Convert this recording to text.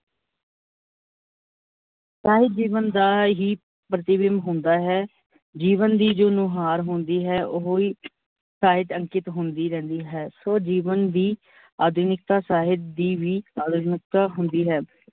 ਸਾਹਿਤ ਜੀਵਨ ਦਾ ਹੀ ਪ੍ਰੀਤੀਬੀਮਬ ਹੁੰਦਾ ਹੈ, ਜੀਵਨ ਦੀ ਜੋ ਨੁਹਾਰ ਹੁੰਦੀ ਹੈ, ਓਹੋ ਹੀ ਸਾਹਿਤ ਤੇ ਅੰਕਿਤ ਹੁੰਦੀ ਰਹਿੰਦੀ ਹੈ, ਸੋ ਜੀਵਨ ਦੀ ਅਧੁਨਿਕਤਾ ਸਾਹਿਤ ਦੀ ਵੀ ਅਧੁਨਿਕੀਤਾ ਹੁੰਦੀ ਹੈ।